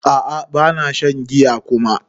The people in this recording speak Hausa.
A'a bana shan giya kuma.